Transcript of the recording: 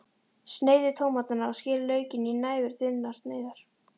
Sneiðið tómatana og skerið laukinn í næfurþunnar sneiðar.